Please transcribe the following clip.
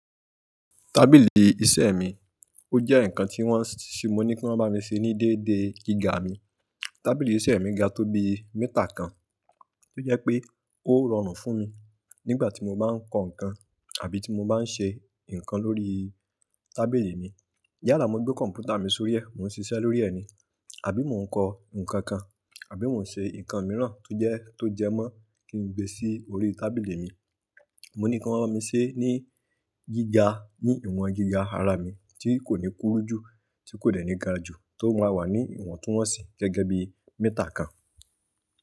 Tábìlì iṣẹ́ mi, ó jẹ́ ǹkan tí wọ́n ṣe, mo ní kí wọ́n bá mi ṣe ní dédé gíga mi. Tábìlì iṣẹ́ mi ga tó bi méetà kan, tó jẹ́ pé ó rọrùn fún mi nígbà tí mo bá ń kọ ǹkan àbí tí mo bá ń ṣe ǹkan lórí tábìlì mi. Yálà mo gbé kọ̀m̀pútà mi sórí ẹ́, mo ń ṣiṣẹ́ lórí ẹ ní àbí mo ń kọ ǹkan kan àbí mo ń ṣe ǹkan mìíràn tó jẹ́, tó jẹmọ́ kí n gbé sí orí tábìlì mi. Mo ní kí wọ́n rán mi ṣe ní gíga, ní ìwọ̀n gíga ara mi tí kò ní kúrú jù, tí kò dẹ̀ ní ga jù, tó máa wà ní ìwọ̀ntúnwọ̀nsì gẹ́gẹ́ bí meétà kan.